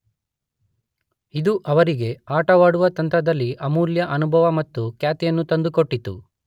ಇದು ಅವರಿಗೆ ಆಟವಾಡುವ ತಂತ್ರದಲ್ಲಿ ಅಮೂಲ್ಯ ಅನುಭವ ಮತ್ತು ಖ್ಯಾತಿಯನ್ನು ತಂದುಕೊಟ್ಟಿತು.